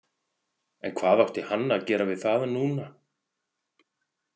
En hvað átti hann að gera við það núna?